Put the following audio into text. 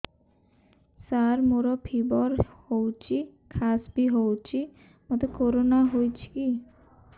ସାର ମୋର ଫିବର ହଉଚି ଖାସ ବି ହଉଚି ମୋତେ କରୋନା ହେଇଚି କି